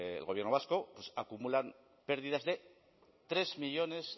el gobierno vasco pues acumulan pérdidas de tres millónes